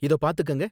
இத பார்த்துக்கங்க